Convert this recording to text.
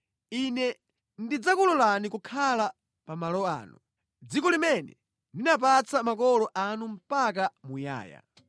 Ine ndidzakulolani kukhala pa malo ano, mʼdziko limene ndinapatsa makolo anu mpaka muyaya.